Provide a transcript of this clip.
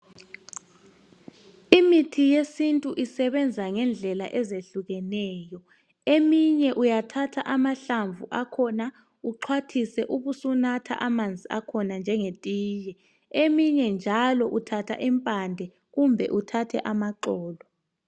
Imithi yesintu isebenza ngendlela ezehlukeneyo Eminye uyathatha amahlamvu akhona, uxhwathise. Ubusunatha amanzi akhona njengetiye. Eminye njalo, uthatha impande, kumbe uthathe amaxolo.